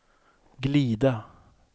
glida